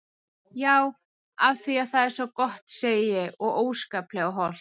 Já af því það er svo gott segi ég og óskaplega hollt.